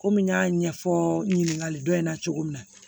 Komi n y'a ɲɛfɔ ɲininkali dɔ in na cogo min na